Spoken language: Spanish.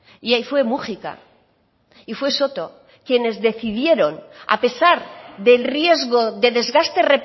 y ahí fue múgica y fue soto quienes decidieron a pesar del riesgo de desgaste